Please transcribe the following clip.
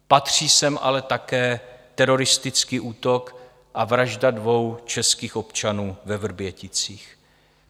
Patří sem ale také teroristický útok a vražda dvou českých občanů ve Vrběticích.